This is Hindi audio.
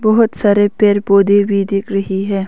बहोत सारे पेर पौधे भी दिख रही हैं।